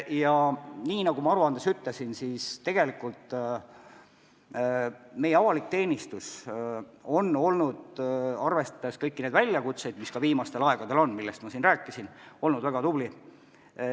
Ja nagu ma ülevaates ütlesin, tegelikult on meie avalik teenistus, arvestades kõiki neid väljakutseid, mis viimastel aegadel olnud on ja millest ma siin rääkisin, olnud väga tubli.